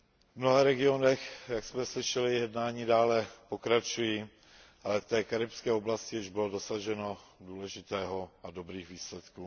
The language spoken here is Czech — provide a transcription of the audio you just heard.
V mnoha regionech, jak jsme slyšeli, jednání dále pokračují, ale v té karibské oblasti již bylo dosaženo důležitých a dobrých výsledků.